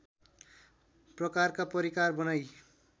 प्रकारका परिकार बनाई